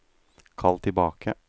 kall tilbake